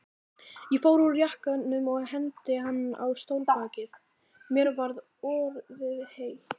Ég fór úr jakkanum og hengdi hann á stólbakið, mér var orðið heitt.